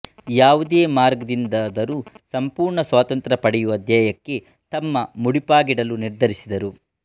ಯಾವುದೇ ಮಾರ್ಗದಿಂದಾದರೂ ಸಂಪೂರ್ಣ ಸ್ವಾತಂತ್ರ್ಯ ಪಡೆಯುವ ಧ್ಯೇಯಕ್ಕೆ ತಮ್ಮ ಮುಡಿಪಾಗಿಡಲು ನಿರ್ಧರಿಸಿದರು